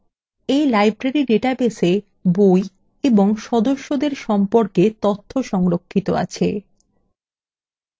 in library ডাটাবেসwe বই এবং সদস্যদের সম্পর্কে তথ্য সংরক্ষিত আছে